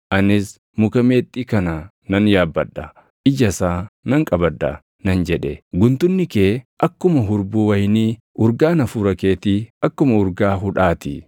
Anis, “Muka meexxii kana nan yaabbadha; ija isaa nan qabadha” nan jedhe. Guntunni kee akkuma hurbuu wayinii, urgaan hafuura keetii akkuma urgaa hudhaa ti;